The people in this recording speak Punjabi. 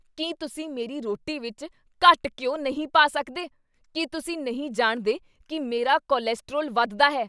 ਕੀ ਤੁਸੀਂ ਮੇਰੀ ਰੋਟੀ ਵਿੱਚ ਘੱਟ ਘਿਓ ਨਹੀਂ ਪਾ ਸਕਦੇ? ਕੀ ਤੁਸੀਂ ਨਹੀਂ ਜਾਣਦੇ ਕੀ ਮੇਰਾ ਕੋਲੇਸਟ੍ਰੋਲ ਵੱਧਦਾ ਹੈ?